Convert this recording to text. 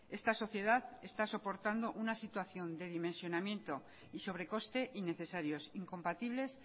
esta sociedad está soportando una situación de dimensionamiento y sobrecoste innecesarios incompatibles